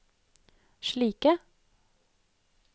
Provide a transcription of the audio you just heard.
slike